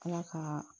Ala ka